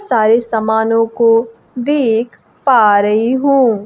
सारे सामानों को देख पा रही हूं।